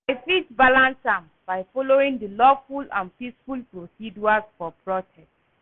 I fit balance am by following di lawful and peaceful procedures for protest.